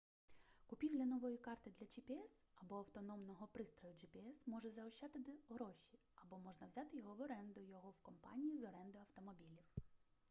купівля нової карти для gps або автономного пристрою gps може заощадити гроші або можна взяти його в оренду його в компанії з оренди автомобілів